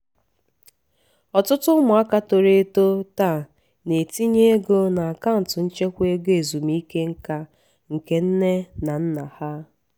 ọtụtụ ụmụaka toro eto taa na-etinye ego na akaụntụ nchekwa ego ezumike nka nke nne na nna ha